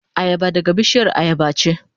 Ayaba daga bishiyar ayaba ce.